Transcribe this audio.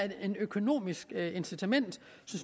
et økonomisk incitament